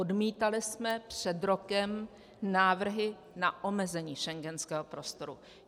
Odmítali jsme před rokem návrhy na omezení schengenského prostoru.